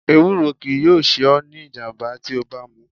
Ewúro kii yoo se o ni ijamba ti o ba mu